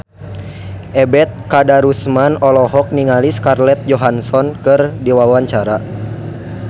Ebet Kadarusman olohok ningali Scarlett Johansson keur diwawancara